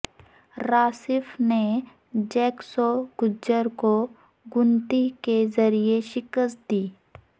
راسف نے جیک سوگجر کو گنتی کے ذریعے شکست دی